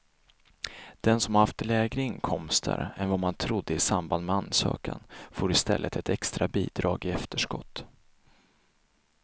Den som har haft lägre inkomster än vad man trodde i samband med ansökan får i stället ett extra bidrag i efterskott.